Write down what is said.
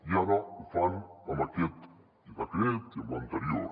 i ara ho fan amb aquest decret i amb l’anterior